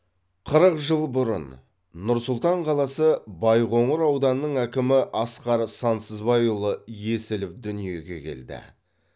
қырық жыл бұрын нұр сұлтан қаласы байқоңыр ауданының әкімі асқар сансызбайұлы есілов дүниеге келді